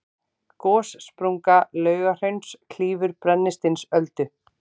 gossprunga laugahrauns klýfur brennisteinsöldu